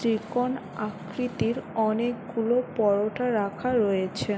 ত্ৰিকোণ আকৃতির অনেক গুলো পরোটা রাখা রয়েছে ।